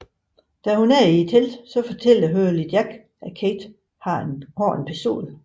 Da hun er i teltet fortæller Hurley Jack at Kate har en pistol